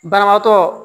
Banabaatɔ